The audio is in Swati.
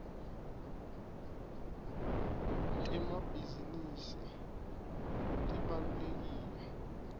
temabhisinisi tibalulekile